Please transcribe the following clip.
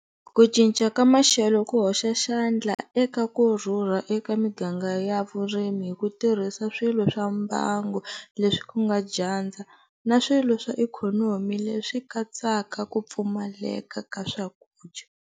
Ku cinca ka maxelo ku hoxa xandla eka ku rhurha eka miganga ya vurimi hi ku tirhisa swilo swa mbangu leswi ku nga dyandza na swilo swa ikhonomi leswi katsaka ku pfumaleka ka swakudya.